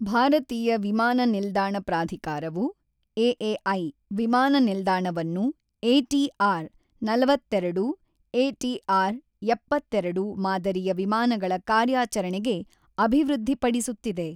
ಭಾರತೀಯ ವಿಮಾನ ನಿಲ್ದಾಣ ಪ್ರಾಧಿಕಾರವು (ಎಎಐ) ವಿಮಾನ ನಿಲ್ದಾಣವನ್ನು ಎಟಿಆರ್ ನಲವತ್ತೆರಡು /ಎಟಿಆರ್ ಎಪ್ಪತ್ತೆರಡು ಮಾದರಿಯ ವಿಮಾನಗಳ ಕಾರ್ಯಾಚರಣೆಗೆ ಅಭಿವೃದ್ಧಿಪಡಿಸುತ್ತಿದೆ.